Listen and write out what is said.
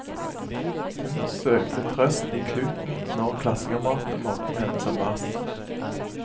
Hun søkte trøst i kluten når klassekameratene mobbet henne som verst.